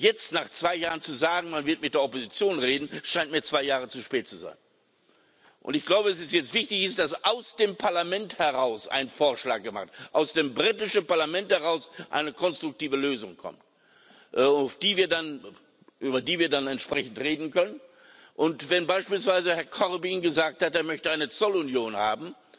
Jetzt, nach zwei Jahren, zu sagen, man werde mit der Opposition reden, scheint mir zwei Jahre zu spät zu sein. Ich glaube, es ist jetzt wichtig, dass aus dem Parlament heraus ein Vorschlag gemacht wird, dass aus dem britischen Parlament heraus eine konstruktive Lösung kommt, über die wir dann entsprechend reden können. Und wenn beispielsweise Herr Corbyn gesagt hat, er möchte eine Zollunion haben,